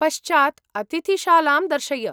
पश्चात् अतिथिशालां दर्शय।